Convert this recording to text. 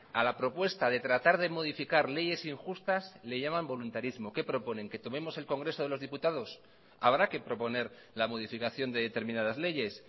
a la propuesta de tratar de modificar leyes injustas le llaman voluntarismo qué proponen que tomemos el congreso de los diputados habrá que proponer la modificación de determinadas leyes